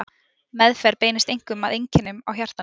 Meðferð beinist einkum að einkennum á hjartanu.